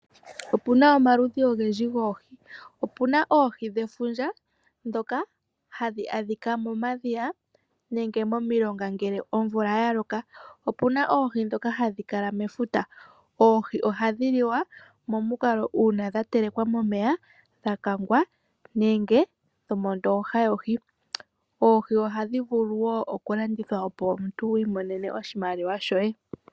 Opuna omaludhi ogendji goohi, opuna oohi dhefundja ndhoka hadhi adhika momadhiya nenge momilonga ngele omvula yaloka, opuna oohi ndhoka hadhi kala mefuta. Oohi ohadhi liwa momukalo uuna dha telekwa momeya, dhakagwa nenge dhomo ndooha yohi. Oohi ohadhi vulu woo okulandithwa opo wiimonene oshimaliwa shoye.